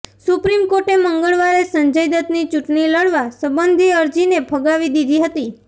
supreme કોર્ટે મંગળવારે સંજય દત્તની ચૂંટણી લડવા સંબંધી અરજીને ફગાવી દીધી હતી